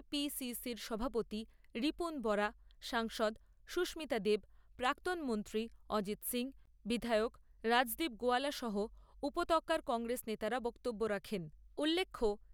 র সভাপতি রিপূন বরা, সাংসদ সুস্মিতা দেব, প্রাক্তন মন্ত্রী অজিত সিংহ, বিধায়ক রাজদীপ গোয়ালা সহ উপত্যকার কংগ্রেস নেতারা বক্তব্য রাখেন ৷ উল্লেখ্য